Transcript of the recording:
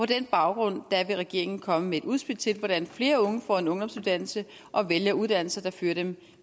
den baggrund vil regeringen komme med et udspil til hvordan flere unge får en ungdomsuddannelse og vælger uddannelser der fører dem